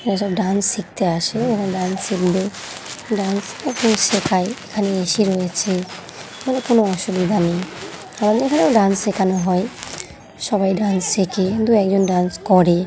এরা সব ডান্স শিখতে আসে এবং ডান্স শিখবে। ডান্স এখন শেখায়। এখানে এসি রয়েছে তাহলে কোনো অসুবিধা নেই। তাহলে এখানেও ডান্স শেখানো হয়। সবাই ডান্স শেখে। দু একজন ডান্স করে।